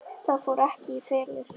Það fór ekki í felur.